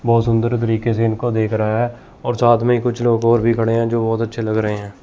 बहोत सुंदर तरीके से इनको देख रहा है और साथ में कुछ लोग और भी खड़े हैं जो बहोत अच्छे लग रहे हैं।